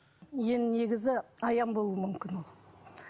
енді негізі аян болуы мүмкін ол